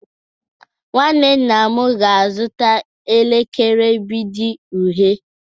Nwanne nna m ga-azụta elekere mgbidi uhie